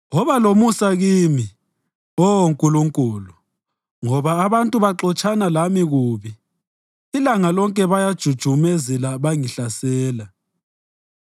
Woba lomusa kimi, Oh Nkulunkulu, ngoba abantu baxotshana lami kubi; ilanga lonke bayajujumezela bengihlasela.